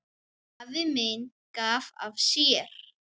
Afi minn gaf af sér.